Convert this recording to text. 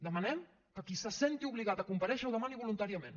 demanem que qui se senti obligat a comparèixer ho demani voluntàriament